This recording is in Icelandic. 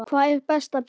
Hvar er best að byrja?